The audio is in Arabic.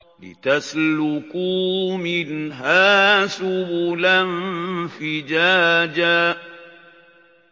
لِّتَسْلُكُوا مِنْهَا سُبُلًا فِجَاجًا